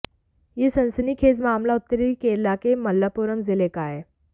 ये सनसनीखेज मामला उत्तरी केरल के मलप्पुरम जिले का है